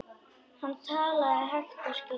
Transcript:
Hann talaði hægt og skýrt.